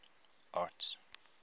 arts